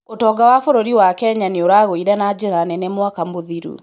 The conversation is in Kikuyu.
ũtonga wa bũrũri wa Kenya nĩ ũragũire na njĩra nene mwaka mũthiru